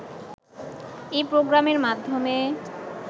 এ প্রোগ্রামের মাধ্যমে